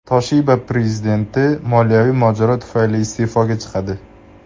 Toshiba prezidenti moliyaviy mojaro tufayli iste’foga chiqadi .